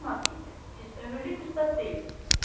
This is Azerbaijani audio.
Cek Makita, siz ömürlük ustad deyilsiz.